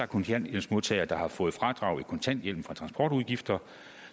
kontanthjælpsmodtagere der har fået fradrag i kontanthjælpen for transportudgifter